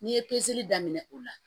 N'i ye pezeli daminɛ o la